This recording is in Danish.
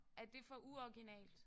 Er det for uoriginalt?